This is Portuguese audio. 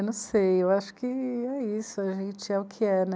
Eu não sei, eu acho que é isso, a gente é o que é, né?